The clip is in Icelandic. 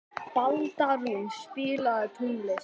Baldrún, spilaðu tónlist.